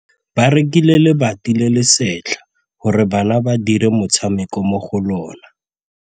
Ba rekile lebati le le setlha gore bana ba dire motshameko mo go lona.